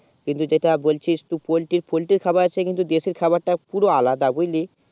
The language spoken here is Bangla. কিন্তু যেটা বলছিস তুই poultry poltry খাবার দেশি খাবার তা পুরো আলাদা বুঝলি